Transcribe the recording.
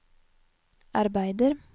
arbeider